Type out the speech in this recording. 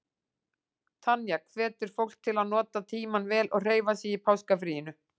Tanya hvetur fólk til að nota tímann vel og hreyfa sig í páskafríinu.